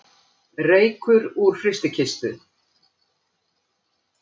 Reykur úr frystikistu